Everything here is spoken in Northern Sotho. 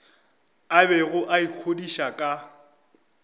a bego a ikgodiša ka